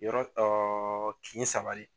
Yɔrɔ kin saba le ye.